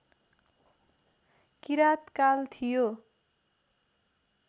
किराँतकाल थियो